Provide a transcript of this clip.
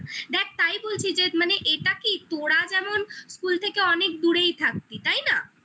দেখ তাই বলছি যে মানে এটা কি তোরা যেমন school থেকে অনেক দূরেই থাকতিস তাই না?